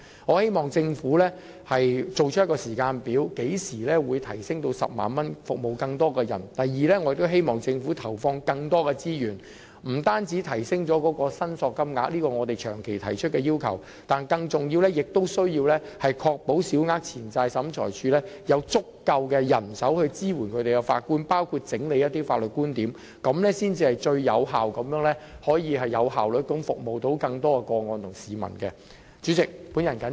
我希望政府提供時間表，說明何時會把限額提升至 100,000 元，服務更多市民；第二，我希望政府投放更多資源，不單回應我們長期提出的要求，亦即提升申索限額，而更重要的是必須確保小額錢債審裁處有足夠人手支援法官，包括整理一些法律觀點，這樣才能最有效率地處理更多個案和服務市民。